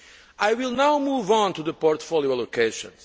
I will now move on to the portfolio allocations.